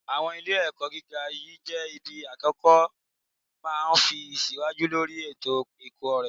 Àwọn ilé-ẹ̀kọ́ gíga yìí jẹ́ ibi akẹ́kọ̀ọ́ ma ti ń tẹ̀síwájú lórí ètò ẹ̀kọ́ rẹ̀